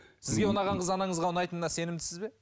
сізге ұнаған қыз анаңызға ұнайтынына сенімдісіз бе